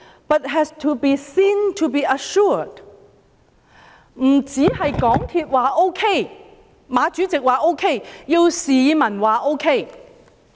不止港鐵公司或馬主席說 OK， 也要市民說 OK。